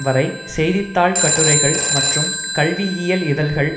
வரை செய்தி தாள் கட்டுரைகள் மற்றும் கல்வியியல் இதழ்கள்